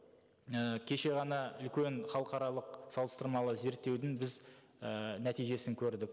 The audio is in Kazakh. і кеше ғана үлкен халықаралық салыстырмалы зерттеудің біз і нәтижесін көрдік